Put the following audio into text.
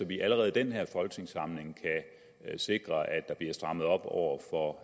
vi allerede i den her folketingssamling kan sikre at der bliver strammet op over for